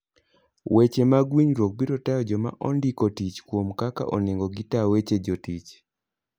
Weche mag winjruok biro tayo joma ondiko tich kuom kaka onego gitaa weche jotich.